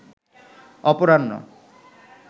অপরাহ্ন